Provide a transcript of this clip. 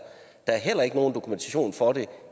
er heller ikke nogen dokumentation for det